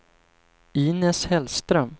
Inez Hellström